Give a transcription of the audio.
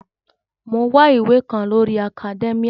Mò ń wá ìwé kan lórii akadẹ́míà